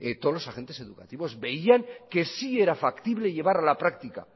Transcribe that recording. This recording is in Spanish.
todos los agentes educativos veían que sí era factible llevar a la practica